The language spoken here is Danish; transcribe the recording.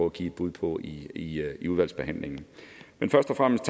at give et bud på i i udvalgsbehandlingen men først og fremmest